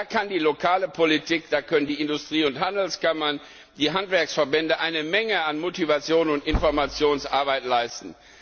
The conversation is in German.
Da kann die lokale Politik, da können die Industrie und Handelskammern und die Handwerksverbände eine Menge an Motivation und Informationsarbeit leisten.